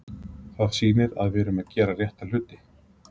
Það sýnir að við erum að gera rétta hluti.